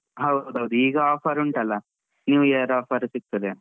ಹೌದ್ ಹೌದು ಈಗ offer ಉಂಟಲ್ಲ New year offer ಸಿಗ್ತದೆ.